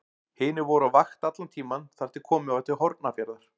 Hinir voru á vakt allan tímann þar til komið var til Hornafjarðar.